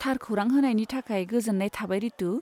थार खौरां होनायनि थाखाय गोजोन्नाय थाबाय रितु।